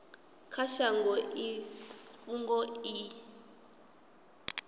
kha shango i fhungo i